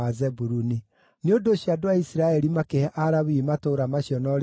Nĩ ũndũ ũcio andũ a Isiraeli makĩhe Alawii matũũra macio na ũrĩithio wamo.